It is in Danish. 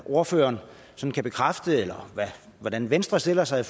ordføreren hvordan venstre stiller sig